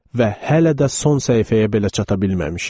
Və hələ də son səhifəyə belə çata bilməmişik.